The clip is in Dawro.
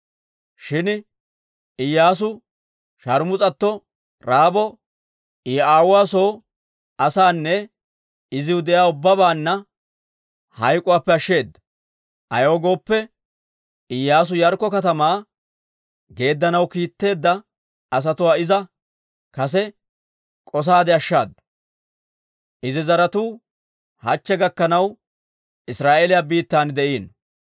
Shin Iyyaasu sharmus'atto Ra'aabo I aawuwaa soo asaananne iziw de'iyaa ubbabaanna hayk'k'uwaappe ashsheeda. Ayaw gooppe, Iyyaasu Yaarikko katamaa geeddanaw kiitteedda asatuwaa iza kase k'osaade ashshaadu. Izi zaratuu hachche gakkanaw Israa'eeliyaa biittan de'iino.